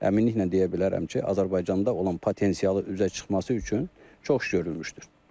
Əminliklə deyə bilərəm ki, Azərbaycanda olan potensialı üzə çıxması üçün çox iş görülmüşdür.